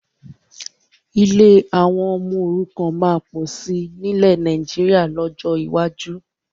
Ilé àwọn ọmọ òrukàn máa pọ̀ sí nilẹ Nàìjíríà lọ́jọ́ iwájú